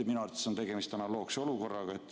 Minu arvates on tegemist analoogse olukorraga.